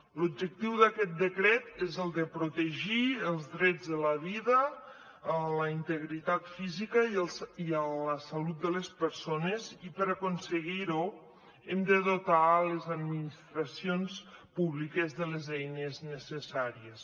l’objectiu d’aquest decret és el de protegir els drets de la vida a la integritat física i a la salut de les persones i per aconseguir ho hem de dotar les administracions públiques de les eines necessàries